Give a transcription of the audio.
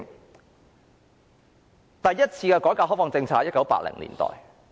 中國第一次改革開放在1980年代推行。